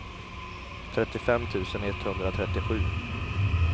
trettiofem tusen etthundratrettiosju